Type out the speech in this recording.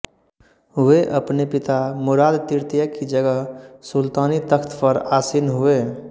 वे अपने पिता मुराद तृतीय की जगह सुल्तानी तख़्त पर आसीन हुए